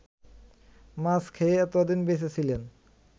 মাছ খেয়ে এতোদিন বেঁচে ছিলেন